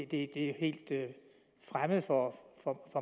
det er helt fremmed for